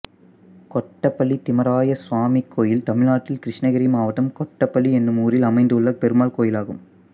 கொத்தப்பள்ளி திம்மராய சாமி கோயில் தமிழ்நாட்டில் கிருஷ்ணகிரி மாவட்டம் கொத்தப்பள்ளி என்னும் ஊரில் அமைந்துள்ள பெருமாள் கோயிலாகும்